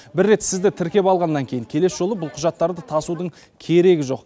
бір рет сізді тіркеп алғаннан кейін келесі жолы бұл құжаттарды тасудың керегі жоқ